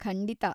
ಖಂಡಿತ!